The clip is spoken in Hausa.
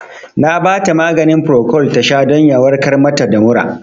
Na bata maganin Procold tasha don ya warkar mata da mura